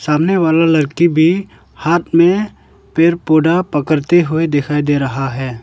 सामने वाला लड़की भी हाथ में पेड़ पौधा पकड़ते हुए दिखाई दे रहा है।